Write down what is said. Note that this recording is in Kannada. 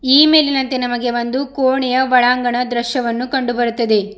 ಈ ಮೇಲಿನಂತೆ ನಮಗೆ ಒಂದು ಕೋಣೆಯ ಒಳಾಂಗಣ ದೃಶ್ಯವನ್ನು ಕಂಡು ಬರುತ್ತದೆ.